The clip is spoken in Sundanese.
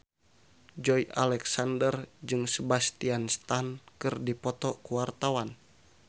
Joey Alexander jeung Sebastian Stan keur dipoto ku wartawan